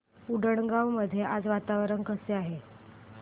उंडणगांव मध्ये आज वातावरण कसे आहे